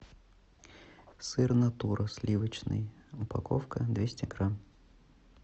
сыр натура сливочный упаковка двести грамм